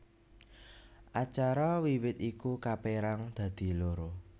Acara wiwit iku kapérang dadi loro